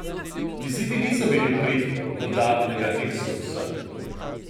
Izidi niso bili v prid dodatnega eksodusa.